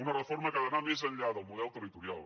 una reforma que ha d’anar més enllà del model territorial